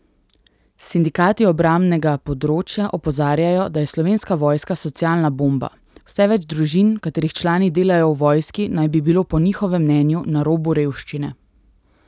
Sindikati obrambnega področja opozarjajo, da je Slovenska vojska socialna bomba, vse več družin, katerih člani delajo v vojski, naj bi bilo po njihovem mnenju na robu revščine.